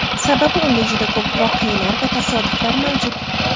Sababi unda juda ko‘p voqealar va tasodiflar mavjud.